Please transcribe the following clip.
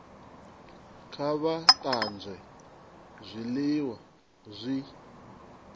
kha vha tanzwe zwiliwa zwi